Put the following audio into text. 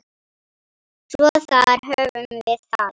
Svo þar höfum við það.